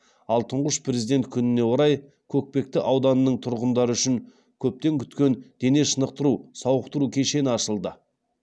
ал тұңғыш президент күніне орай көкпекті ауданының тұрғындары үшін көптен күткен дене шынықтыру сауықтыру кешені ашылды